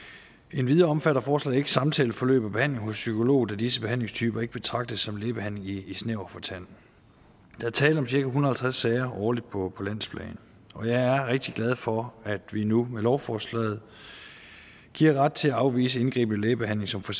endvidere omfatter forslaget ikke samtaleforløb og behandling hos psykolog da disse behandlingstyper ikke betragtes som lægebehandling i snæver forstand der er tale om cirka en hundrede og halvtreds sager årligt på landsplan og jeg er rigtig glad for at vi nu med lovforslaget giver ret til at afvise indgribende lægebehandling som for